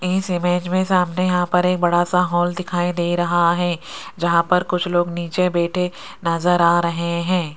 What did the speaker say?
इस इमेज में सामने यहां पर एक बड़ा सा हॉल दिखाई दे रहा है जहां पर कुछ लोग नीचे बैठे नजर आ रहे हैं।